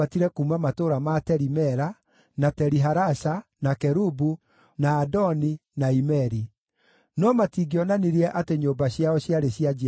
gũtatarĩtwo ndungata ciao cia arũme na cia andũ-a-nja 7,337; ningĩ nĩ maarĩ na aini a nyĩmbo 200, arũme na andũ-a-nja.